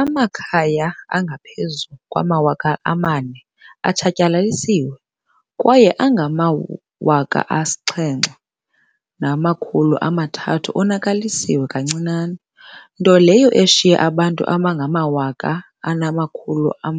Amakhaya angaphezulu kwama-4 000 atshatyalalisiwe kwaye angama-8 300 onakaliswe kancinane, nto leyo eshiye abantu abangama-40